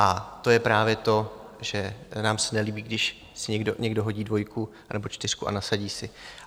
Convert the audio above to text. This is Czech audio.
A to je právě to, že nám se nelíbí, když si někdo hodí dvojku nebo čtyřku a nasadí si.